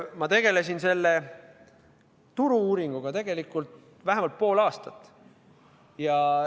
Ma tegelesin selle turu-uuringuga tegelikult vähemalt pool aastat.